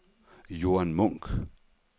Joan Munch